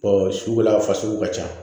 sugu la fasuguw ka ca